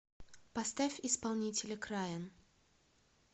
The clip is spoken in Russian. поставь исполнителя крайон